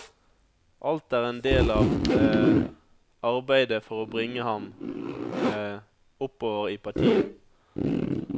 Alt er en del av arbeidet for å bringe ham oppover i partiet.